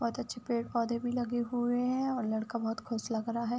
बोहोत अच्छे पेड़-पौधे भी लगे हुए हैं और लड़का बोहोत खुश लग रहा है।